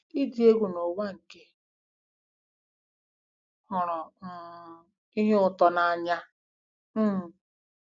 Ịdị egwu n'ụwa nke hụrụ um ihe ụtọ n'anya um